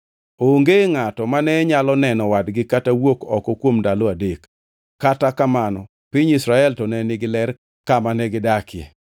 Onge ngʼato mane nyalo neno wadgi kata wuok oko kuom ndalo adek, kata kamano piny Israel to ne nigi ler kama negidakie.